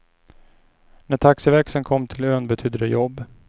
När taxiväxeln kom till ön betydde det jobb.